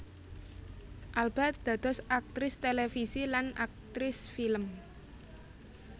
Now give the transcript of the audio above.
Alba dados aktris télévisi lan aktris film